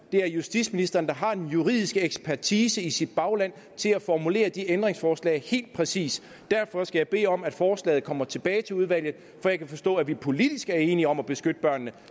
er justitsministeren der har den juridiske ekspertise i sit bagland til at formulere de ændringsforslag helt præcist derfor skal jeg bede om at forslaget kommer tilbage til udvalget for jeg kan forstå at vi politisk er enige om at beskytte børnene